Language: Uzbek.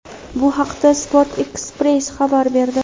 Bu haqda "Sport ekspress" xabar berdi.